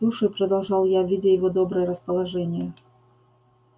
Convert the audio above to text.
слушай продолжал я видя его доброе расположение